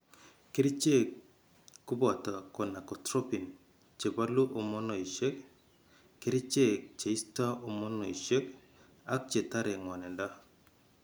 Kerichek ko boto gonadotropin che bolu homonoisiek , kerichek che isto homonoisiek ak che tare ng'wanindo.